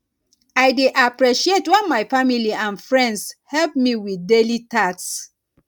i dey appreciate when my family and friends help me with daily tasks